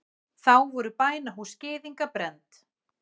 Þá voru bænahús gyðinga brennd.